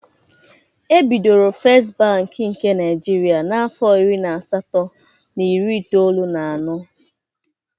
Ebidoro Fest bank nke Naịjirịa n'afọ iri na asatọ na iri itoolu na anọ.